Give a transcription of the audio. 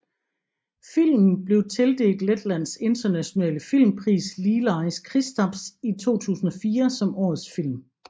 Filmen blev tildelt Letlands nationale filmpris Lielais Kristaps i 2004 som årets film